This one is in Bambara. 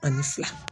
Ani fila